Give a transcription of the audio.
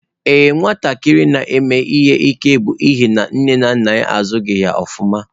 Ee nwatakịrị na-eme ihe ike bụ n'ihi nne na nna ya azụghị ya ofuma.